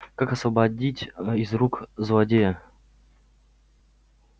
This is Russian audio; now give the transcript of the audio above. как освободить из рук злодея